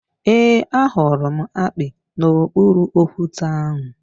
Ee, ahụrụ m akpi n’okpuru okwute ahụ